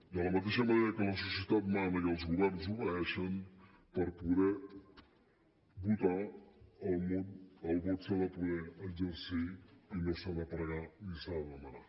de la mateixa manera que la societat mana i els governs obeeixen per poder votar el vot s’ha de poder exercir i no s’ha de pregar ni s’ha de demanar